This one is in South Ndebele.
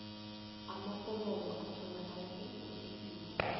amaforomo atholakala eofisini